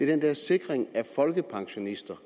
den der sikring af folkepensionister